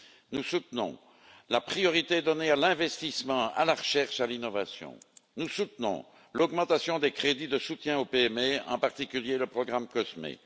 Nous soutenons la priorité donnée à l'investissement, à la recherche, à l'innovation, et l'augmentation des crédits de soutien aux PME, en particulier le programme COSME.